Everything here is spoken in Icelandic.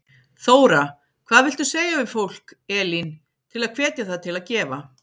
Þóra: Hvað viltu segja við fólk, Elín, til að hvetja það til að gefa?